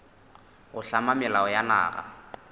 go hlama melao ya naga